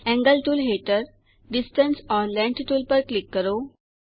angle tool હેઠળ distance or length tool પર click કરો